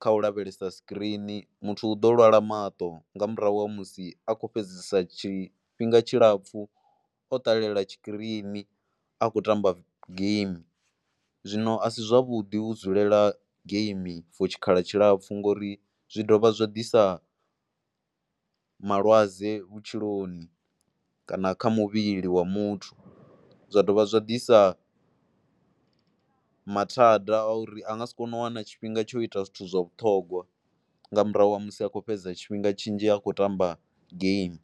kha u lavhelesa sikirini. Muthu u ḓo lwala maṱo nga murahu ha musi a khou fhedzisa tshi tshifhinga tshilapfhu o ṱalela tshikirini, a khou tamba game. Zwino a si zwavhuḓi u dzulela game for tshikhala tshilapfhu ngori zwi dovha zwa disa malwadze vhutshiloni kana kha muvhili wa muthu. Zwa dovha zwa ḓisa mathada a uri a nga si kone u wana tshifhinga tsho ita zwithu zwa vhuṱhogwa nga murahu ha musi a khou fhedza tshifhinga tshinzhi a khou aamba game.